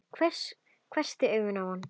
Hvessti augun á hann.